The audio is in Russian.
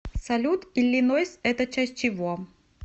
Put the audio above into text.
салют иллинойс это часть чего